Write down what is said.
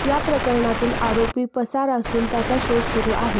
या प्रकरणातील आरोपी पसार असून त्याचा शोध सुरू आहे